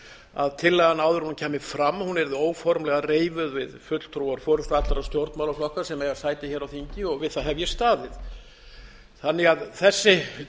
að tillagan áður en hún kæmi fram yrði óformlega reifuð við fulltrúa allra stjórnmálaflokka sem eiga sæti hér á þingi og við það hef ég staðið þannig að þessi